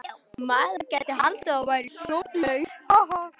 Maður gæti haldið að þú værir sjónlaus!